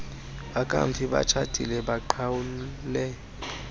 bakamfi batshatile baqhawule